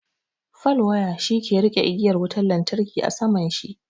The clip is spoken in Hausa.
Fal waya shi ke riƙe igiyar wutar lantarki a saman shi.